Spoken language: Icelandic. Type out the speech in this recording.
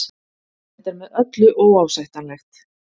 Þetta er með öllu óásættanlegt